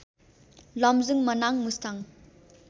Lamjung Manang Mustang